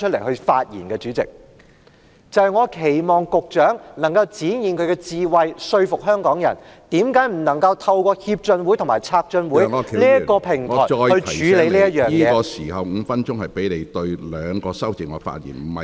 我期望局長可以展現他的智慧，說服香港人為何政府不能夠透過港台經濟文化合作協進會和台港經濟文化合作策進會處理這宗案件......